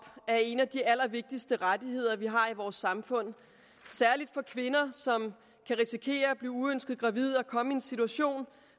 er en af de allervigtigste rettigheder vi har i vores samfund særlig for kvinder som kan risikere at blive uønsket gravide og komme i en situation